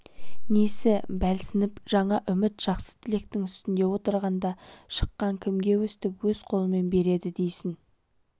несі бәлсініп жаңа үміт жақсы тілектің үстінде отырғанда шықаң кімге өстіп өз қолымен береді дейсің